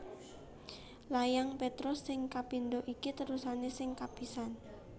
Layang Petrus sing kapindho iki terusané sing kapisan